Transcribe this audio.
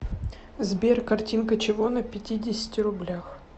сбер картинка чего на пятидесяти рублях